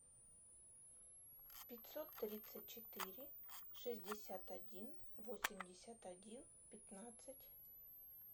пятьсот тридцать четыре шестьдесят один восемьдесят один пятнадцать